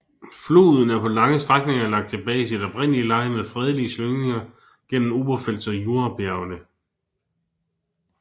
Floden er på lange strækninger lagt tilbage i sit oprindelige leje med fredelige slyngninger gennem Oberpfälzer Jurabjergene